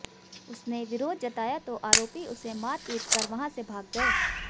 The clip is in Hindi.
उसने विरोध जताया तो आरोपी उसे मारपीट कर वहां से भाग गए